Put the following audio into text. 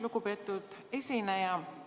Lugupeetud esineja!